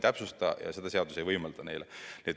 Vaat seda seadus ei täpsusta.